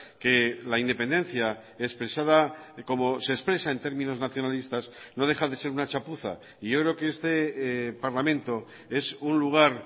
que la independencia expresada como se expresa en términos nacionalistas no deja de ser una chapuza y yo creo que este parlamento es un lugar